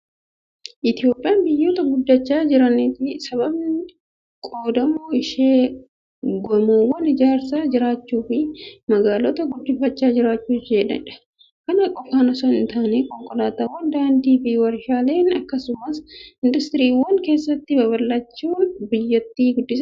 Itoophiyaan biyyoota guddachaa jiranitti sababni qoodamuu ishee gamoowwan ijaaraa jiraachuu fi magaalota guddifachaa jiraachuuu isheenidha. Kana qofaan osoo hin taane, konkolaataawwan, daandii fi waarshaaleen akkasumas industiriiwwan keessatti babal'achuun biyyatti guddisaa jiru.